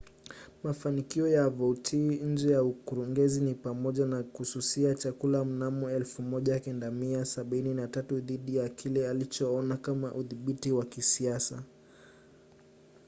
mafanikio ya vautier nje ya ukurugenzi ni pamoja na kususia chakula mnamo 1973 dhidi ya kile alichoona kama udhibiti wa kisiasa